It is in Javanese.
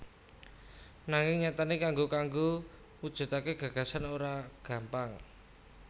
Nanging nyatane kanggo kanggo mujudake gagasan mau ora gampang